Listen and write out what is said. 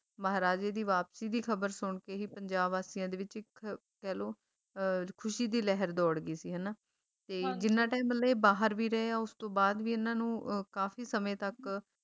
ਮਹਾਰਾਜੇ ਦੀ ਵਾਪਸੀ ਦੀ ਖਬਰ ਸੁਣਕੇ ਹੀ ਪੰਜਾਬ ਵਾਸੀਆਂ ਦੇ ਵਿੱਚ ਇੱਕ ਕਹਿਲੋ ਅਹ ਖੁਸ਼ੀ ਦੀ ਲਹਿਰ ਦੌੜ ਗਈ ਸੀ ਹਨਾਂ ਤੇ ਜਿੰਨਾ time ਮਤਲਬ ਇਹ ਬਾਹਰ ਵੀ ਰਹੇ ਉਸਤੋਂ ਬਾਅਦ ਵੀ ਇਹਨਾਂ ਨੂੰ ਅਹ ਕਾਫੀ ਸਮੇਂ ਤਕ